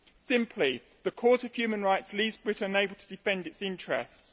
Simply, the Court of Human Rights leaves Britain unable to defend its interests.